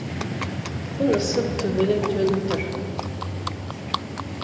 күн ысып төбеден төніп тұр